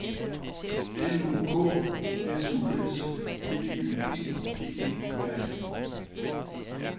L U K S U S B Y G G E R I